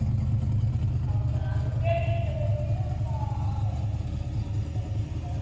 ಹೌದಾ ಅಂಗಡಿಯಲ್ಲಿ ತಗೋಳ್ತೀರಾ ಅಥವಾ online ಅಲ್ಲಿ ಎಲ್ಲ ಮಾಡ್ಬೇಕಂತಿದ್ದೀರಾ?